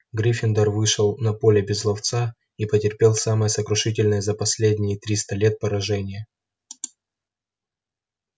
гриффиндор вышел на поле без ловца и потерпел самое сокрушительное за последние триста лет поражение